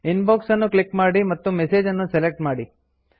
inbox ಅನ್ನು click ಮಾಡಿ ಮತ್ತು ಮೆಸೇಜ್ ಅನ್ನು ಸೆಲೆಕ್ಟ್ ಮಾಡಿ